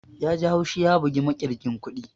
Yaji haushi ya bugi makirgin kuɗin